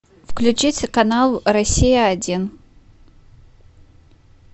включить канал россия один